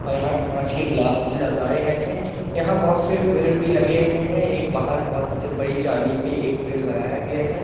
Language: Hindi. और यहाँ कांच के ग्लास भी लगाए गए है यहाँ बहोत से पेड़ भी लगे हुए है एक बाहर बहोत बड़ी जाली पे एक पेड़ लगाया गया है।